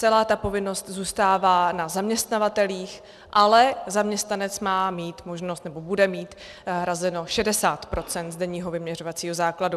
Celá ta povinnost zůstává na zaměstnavatelích, ale zaměstnanec má mít možnost, nebo bude mít hrazeno 60 % z denního vyměřovacího základu.